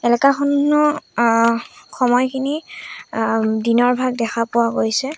এলেকা খনৰ আ সময়খিনি আ দিনৰ ভাগ দেখা পোৱা গৈছে।